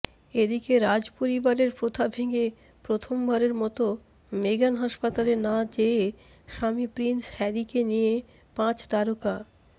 এদিকে রাজপরিবারের প্রথা ভেঙ্গে প্রথমবারের মত মেগান হাসপাতালে না যেয়ে স্বামী প্রিন্স হ্যারিকে নিয়ে পাঁচতারকা